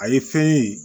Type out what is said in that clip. A ye fɛn ye